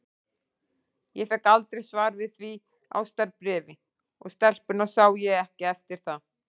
Ég fékk aldrei svar við því ástarbréfi, og stelpuna sá ég ekki eftir það.